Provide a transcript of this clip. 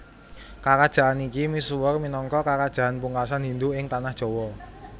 Karajan iki misuwur minangka karajan pungkasan Hindu ing Tanah Jawa